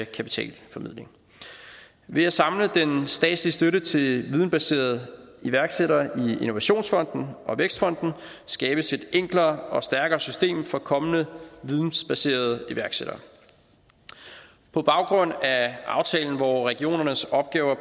kapitalformidling ved at samle den statslige støtte til videnbaserede iværksættere i innovationsfonden og vækstfonden skabes et enklere og stærkere system for kommende vidensbaserede iværksættere på baggrund af aftalen hvor regionernes opgaver